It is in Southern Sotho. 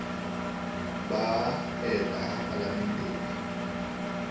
ba eta ha palaemente e